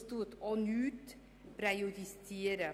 Es wird auch nichts präjudiziert.